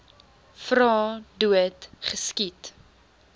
vra dood geskiet